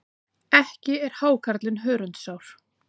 Ekki er hákarlinn hörundsár.